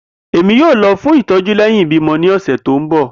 Emi yoo lọ fun itọju lẹhin ibimọ ni ọsẹ ti n bọ.